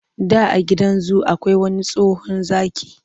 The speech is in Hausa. Da a gidan zu akwai wani tsohon zaki,